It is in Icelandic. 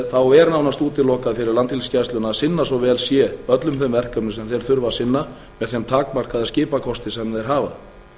þá er nánast útilokað fyrir landhelgisgæsluna að sinna svo vel sé öllum þeim verkefnum sem þeir þurfa að sinna með þeim takmarkaða skipakosti sem þeir hafa